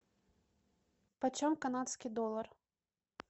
по чем канадский доллар